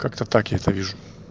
как-то так я это вижу